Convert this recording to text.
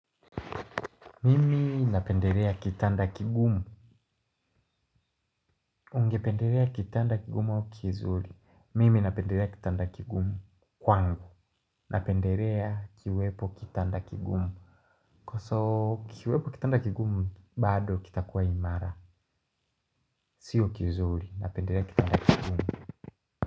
Mimi napenderea kitanda kigumu ungependerea kitanda kigumu au kizuri mimi napenderea kitanda kigumukwangu napenderea ikiwepo kitanda kigumu ikiwepo kitanda kigumu bado kitakuwa imara sio kizuri napenderea kitanda kigumu.